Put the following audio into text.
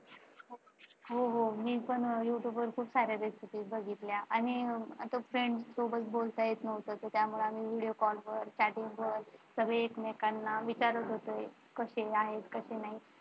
हो हो मी पण Youtube वर खूप साऱ्या Rbecipe बघितल्या आणि आता Friends सोबत बोलता येत नव्हतं त्यामुळे आम्ही Video Call कर Chatting करून सगळे एकमेकांना विचारत होते कसे आहेत आणि कसे नाही ते.